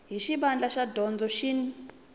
hi xivandla xa dyondzo xin